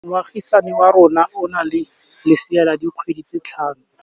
Moagisane wa rona o na le lesea la dikgwedi tse tlhano.